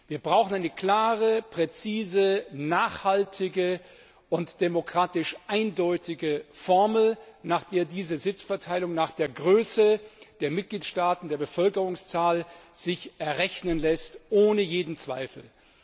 Wir brauchen eine klare, präzise, nachhaltige und demokratisch eindeutige Formel, nach der sich diese Sitzverteilung nach der Größe der Mitgliedstaaten, der Bevölkerungszahl errechnen lässt, ohne jeden Zweifel.